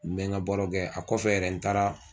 N bɛ n ka baaraw kɛ a kɔfɛ yɛrɛ n taara